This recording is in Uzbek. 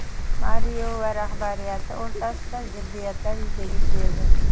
Mario va rahbariyati o‘rtasida ziddiyatlar yuzaga keldi.